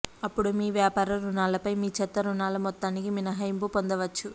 అప్పుడు మీ వ్యాపార రుణాలపై మీ చెత్త రుణాల మొత్తానికి మినహాయింపు పొందవచ్చు